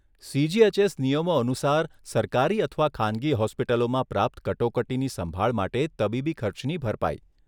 CGHS નિયમો અનુસાર સરકારી અથવા ખાનગી હોસ્પિટલોમાં પ્રાપ્ત કટોકટીની સંભાળ માટે તબીબી ખર્ચની ભરપાઈ.